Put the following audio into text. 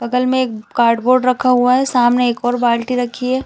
बगल में एक कार्डबोर्ड रखा हुआ है सामने एक और बाल्टी रखी हैं।